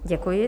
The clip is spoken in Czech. Děkuji.